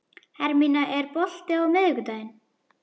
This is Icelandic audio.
Hermína, er bolti á miðvikudaginn?